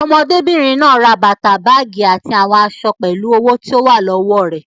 Ọmọbìnrin náà ra bàtà, báágì àti àwọn aṣọ owó tó wà lọ́wọ́ rẹ̀.